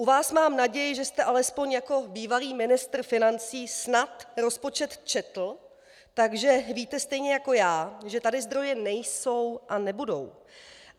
U vás mám naději, že jste alespoň jako bývalý ministr financí snad rozpočet četl, takže víte stejně jako já, že tady zdroje nejsou a nebudou.